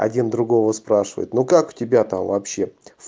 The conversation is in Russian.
один другого спрашивает ну как у тебя там вообще